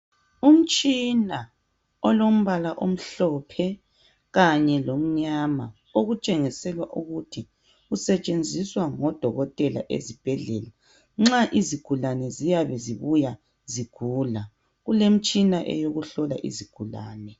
Umtshina olombala omhlophe kanye lomnyama okutshengisela ukuthi usetshenziswa ngodoketela esibhedlela. Nxa izigulane ziyabe zibuya zigula, kulemitshina eyokuhlola izigulane.